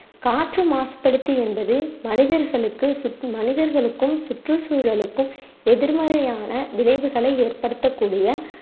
காற்று மாசுபடுத்தி என்பது மனிதர்களுக்கு சு~ மனிதர்களுக்கும், சுற்றுச்சூழலுக்கும் எதிர்மறையான விளைவுகளை ஏற்படுத்தக்கூடிய